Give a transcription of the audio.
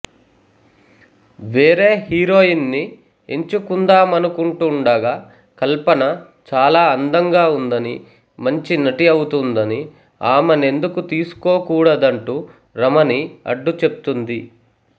వేరే హీరోయిన్ ని ఎంచుకుందామనుకుంటూండగా కల్పన చాలా అందంగా ఉందని మంచి నటి అవుతుందని ఆమెనెందుకు తీసుకోకూడదంటూ రమణి అడ్డుచెప్తుంది